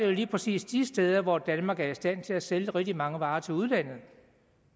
det lige præcis de steder hvor danmark er i stand til at sælge rigtig mange varer til udlandet